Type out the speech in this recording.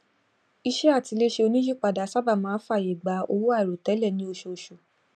ìṣe àtiléṣe oníìyípadà sáábà máa ń fàyè gba owó àìròtẹlẹ ní oṣooṣù